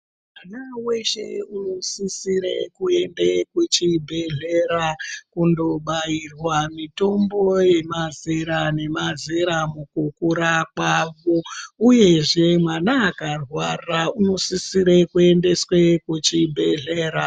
Mwana weshe unosisa kuenda kuchibhehlera kunobairwa mitombo yemazera nemazera mukukura kwavo uyezve mwana kana akarwara inosisire kuendeswa kuchibhahleya.